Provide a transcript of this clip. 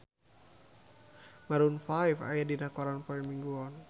Maroon 5 aya dina koran poe Minggon